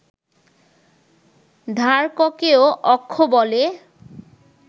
ধারককেও অক্ষ বলে